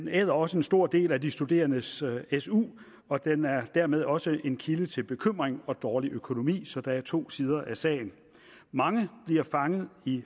æder også en stor del af de studerendes su og den er dermed også en kilde til bekymring og dårlig økonomi så der er to sider af sagen mange bliver fanget i